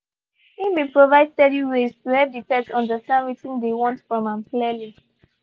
he been provide steady ways to help the pet understand wetin dey want from am clearly